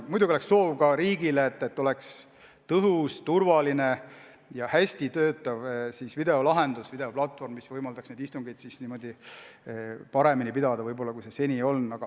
Muidugi on meil soov ka riigile, et oleks tõhus, turvaline ja hästi töötav videolahendus, videoplatvorm, mis võimaldaks istungeid pidada paremini kui seni.